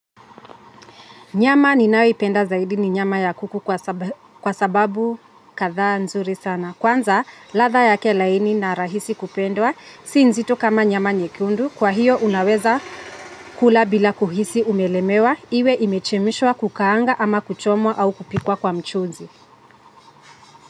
Nyama ninayoipenda zaidi ni nyama ya kuku kwa sababu kadha nzuri sana. Kwanza, latha yake laini na rahisi kupendwa, si nzito kama nyama nyekundu. Kwa hiyo, unaweza kula bila kuhisi umelemewa. Iwe imechemshwa kukaanga ama kuchomwa au kupikwa kwa mchuzi.